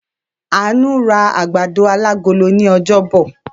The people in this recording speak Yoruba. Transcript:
Àánú ra àgbàdo alágolo ní ọjọ́bọ̀.